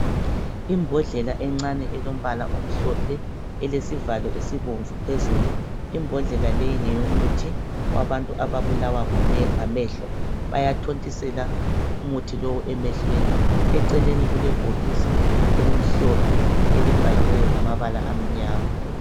Imbodlela encane elombala omhlophe elesivalo esibomvu phezulu. Imbodlela leyi ngeyomuthi wabantu ababulawa ngamehlo bayathontisela umuthi lowu emehlweni. Eceleni kulebhokisi elimhlophe elibhaliweyo ngamabala amnyama.